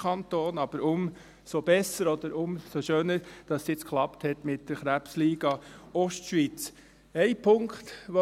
Aber umso besser oder umso schöner, dass es jetzt mit der Krebsliga Ostschweiz geklappt hat.